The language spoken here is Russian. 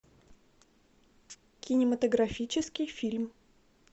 кинематографический фильм